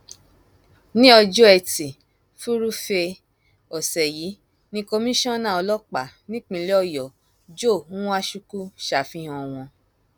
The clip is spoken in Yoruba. ní ọjọ etí furuufee ọsẹ yìí ni komisanna ọlọpàá nípínlẹ ọyọ joe nwajukwu ṣàfihàn wọn